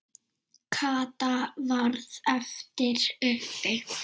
Kata varð eftir uppi.